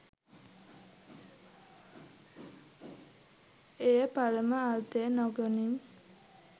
එය පරම අර්ථය නොගනී.